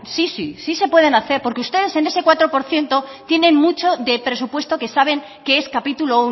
sí sí sí se pueden hacer porque ustedes en ese cuatro por ciento tienen mucho de presupuesto que saben que es capítulo